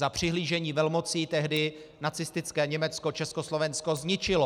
Za přihlížení velmocí tehdy nacistické Německo Československo zničilo.